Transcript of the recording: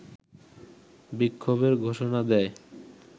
বিক্ষোভের ঘোষণা দেয়